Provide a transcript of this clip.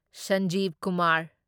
Sanjiv Kumar